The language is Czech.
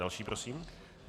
Další prosím.